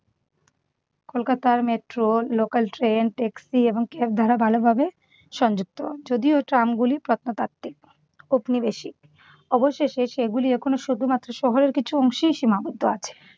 কলকাতার metro, local train, taxi এবং cab দ্বারা ভালোভাবে সংযুক্ত। যদিও ট্রামগুলো প্রত্নতাত্ত্বিক, ঔপনিবেশিক। অবশেষে সেগুলো এখনো শুধুমাত্র শহরের কিছু অংশেই সীমাবদ্ধ আছে।